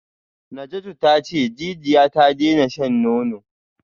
Najatu tace jijiya ta daina shan nono